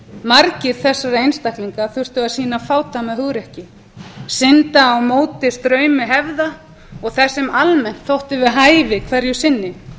margir þessara einstaklinga þurftu að sýna fádæma hugrekki synda á móti straumi hefða og þess sem almennt þótti við hæfi hverju sinni